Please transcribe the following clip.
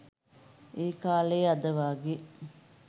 ඒකාලේ අද වාගේ